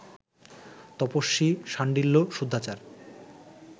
তপস্বী শাণ্ডিল্য শুদ্ধাচার